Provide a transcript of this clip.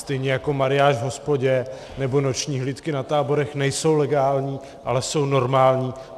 Stejně jako mariáš v hospodě nebo noční hlídky na táborech nejsou legální, ale jsou normální.